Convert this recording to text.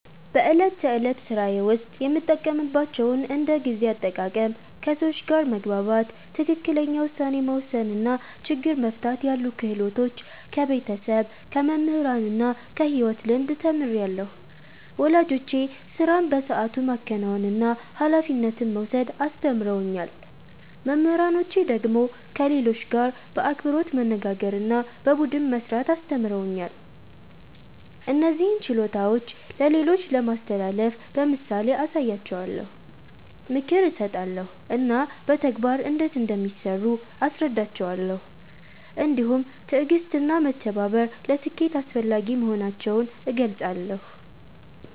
በዕለት ተዕለት ሥራዬ ውስጥ የምጠቀምባቸውን እንደ ጊዜ አጠቃቀም፣ ከሰዎች ጋር መግባባት፣ ትክክለኛ ውሳኔ መወሰን እና ችግር መፍታት ያሉ ክህሎቶች ከቤተሰብ፣ ከመምህራን እና ከሕይወት ልምድ ተምሬአለሁ። ወላጆቼ ሥራን በሰዓቱ ማከናወንና ኃላፊነት መውሰድ አስተምረውኛል። መምህራኖቼ ደግሞ ከሌሎች ጋር በአክብሮት መነጋገርና በቡድን መሥራት አስተምረውኛል። እነዚህን ችሎታዎች ለሌሎች ለማስተላለፍ በምሳሌ አሳያቸዋለሁ፣ ምክር እሰጣለሁ እና በተግባር እንዴት እንደሚሠሩ አስረዳቸዋለሁ። እንዲሁም ትዕግሥትና መተባበር ለስኬት አስፈላጊ መሆናቸውን እገልጻለሁ።